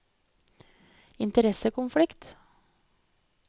interessekonflikt